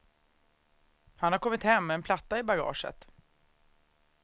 Han har kommit hem med en platta i bagaget.